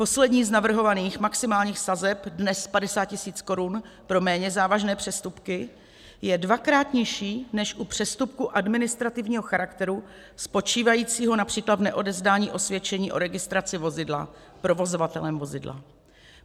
Poslední z navrhovaných maximálních sazeb, dnes 50 tisíc korun pro méně závažné přestupky, je dvakrát nižší, než u přestupku administrativního charakteru spočívajícího například v neodevzdání osvědčení o registraci vozidla provozovatelem vozidla.